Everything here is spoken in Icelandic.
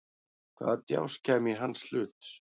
Hvaða djásn kæmi í hans hlut?